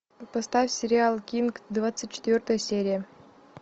поставь сериал кинг двадцать четвертая серия